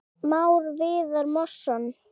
Már Viðar Másson.